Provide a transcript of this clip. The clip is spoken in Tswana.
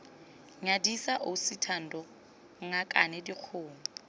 nyadisa ausi thando ngakane dikgomo